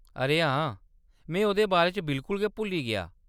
अरे हां, में ओह्‌‌‌दे बारे च बिल्कुल गै भुल्ली गेआ।